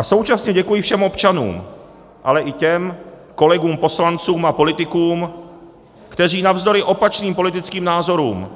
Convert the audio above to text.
A současně děkuji všem občanům, ale i těm kolegům poslancům a politikům, kteří navzdory opačným politickým názorům